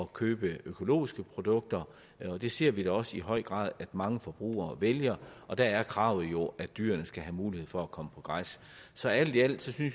købe økologiske produkter og det ser vi da også i høj grad at mange forbrugere vælger og der er kravet jo at dyrene skal have mulighed for at komme på græs så alt i alt synes vi